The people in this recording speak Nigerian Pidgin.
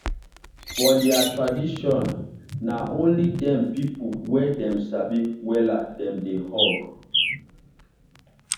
for their traditionna only them people wey dem sabi wella dem dey hug.